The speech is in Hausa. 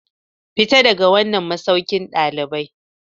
Fita daga wannan masaukin dalibai.